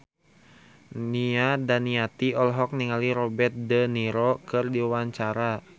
Nia Daniati olohok ningali Robert de Niro keur diwawancara